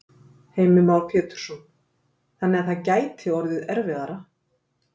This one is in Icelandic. Heimir Már Pétursson: Þannig að það gæti orðið erfiðara?